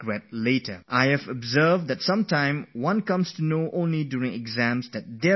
I have seen that when we get the question paper, sometimes we find that it has been modelled on a new pattern